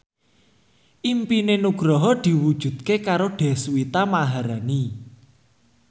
impine Nugroho diwujudke karo Deswita Maharani